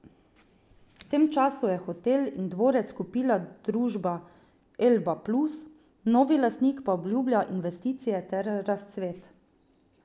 V tem času je hotel in dvorec kupila družba Elba Plus, novi lastnik pa obljublja investicije ter razcvet.